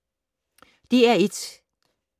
DR1